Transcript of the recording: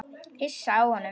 Hissa á honum.